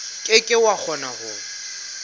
ke ke wa kgona ho